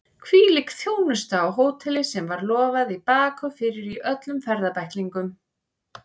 Hvílík þjónusta á hóteli sem var lofað í bak og fyrir í öllum ferðabæklingum!